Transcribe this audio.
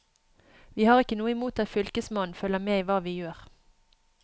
Vi har ikke noe imot at fylkesmannen følger med i hva vi gjør.